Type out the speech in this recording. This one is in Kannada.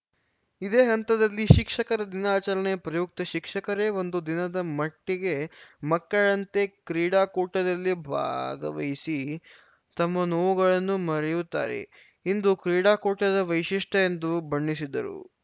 ಇದೇ ಹಂತದಲ್ಲಿ ಶಿಕ್ಷಕರ ದಿನಾಚರಣೆ ಪ್ರಯುಕ್ತ ಶಿಕ್ಷಕರೇ ಒಂದು ದಿನದ ಮಟ್ಟಿಗೆ ಮಕ್ಕಳಂತೆ ಕ್ರೀಡಾಕೂಟದಲ್ಲಿ ಭಾಗವಹಿಸಿ ತಮ್ಮ ನೋವುಗಳನ್ನು ಮರೆಯುತ್ತಾರೆ ಇಂದು ಕ್ರೀಡಾಕೂಟದ ವೈಶಿಷ್ಟ್ಯ ಎಂದು ಬಣ್ಣಿಸಿದರು